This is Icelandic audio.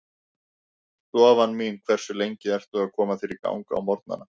Stofan mín Hversu lengi ertu að koma þér í gang á morgnanna?